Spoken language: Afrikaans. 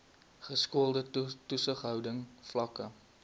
geskoolde toesighouding vlakke